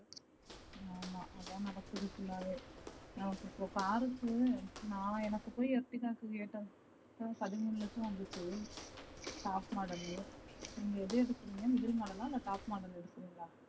ஆமா அதா நடக்குது full வே நமக்கு இபோ car நா எனக்கு போய் பதிமூணு லட்சம் வந்துச்சு top model லே நீங்க எது எடுக்கிறிங்க இதே model லா இல்ல top model எடுக்குறீங்களா